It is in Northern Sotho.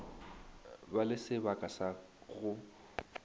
ba le sebaka sa go